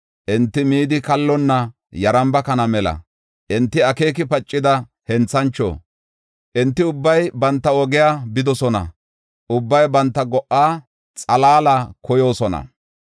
Enti midi kallonna yaramba kana mela; enti akeeki pacida henthancho. Enti ubbay banta oge bidosona; ubbay banta go77a xalaala koyoosona.